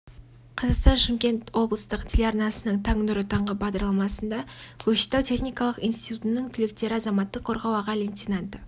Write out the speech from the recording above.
қазақстан шымкент облыстық телеарнасының таң нұры таңғы бағдарламасында көкшетау техникалық институтының түлектері азаматтық қорғау аға лейтенанты